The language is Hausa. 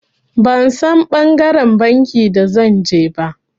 Ban San ɓangaren banki da zan je ba.